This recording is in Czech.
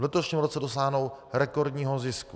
V letošním roce dosáhnou rekordního zisku.